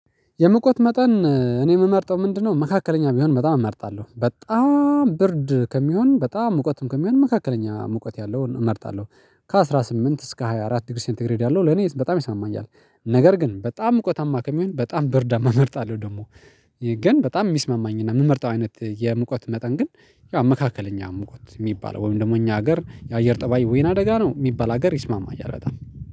የሙቀት መጠን እኔ የምመርጠው ምንድነው? መካከለኛ ቢሆን በጣም እመርጣለሁ በጣም ብርድ ከሚሆን በጣም ሙቀትም ከሚሆን መካከለኛ ሙቀት ያለውን እመርጣለሁ። ከአሥራ ስምንት እስከ ሃያ አራት ዲግሪ ሴንተግሬድ ያለው ለኔ በጣም ይስማማኛል። ነገር ግን በጣም ሙቀታማ ከሚሆን በጣም ብርዳማ እመርጣለሁ ደግሞ። ግን በጣም የሚስማማኝና የምመርጠው አይነት የሙቀት መጠን ግን ያው መካከለኛ ሙቀት የሚባል ወይም ደግሞ እኛ ሀገር የአየር ጠባይ ወይና ደጋ ነው የሚባል ሀገር ይስማማኛል በጣም